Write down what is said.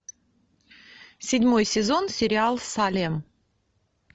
седьмой сезон сериал салем